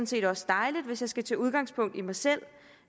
set også dejligt hvis jeg skal tage udgangspunkt i mig selv